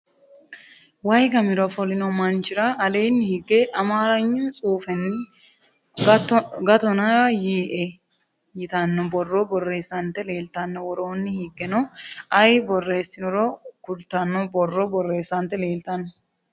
wayi gamira ofolinno manchira aleenni higge amaragnu tsuufenni gattona yiiye'e yitanno borro borressante leelitanno worooni higgeno ayi boreesinoro kulitano borro bereesante leelitanno.